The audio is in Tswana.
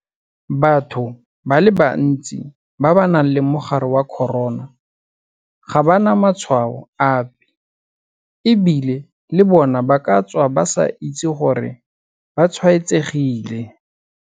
Batho ba le bantsi ba ba nang le mogare wa corona ga ba na matshwao ape e bile le bona ba ka tswa ba sa itse gore ba tshwaetsegile.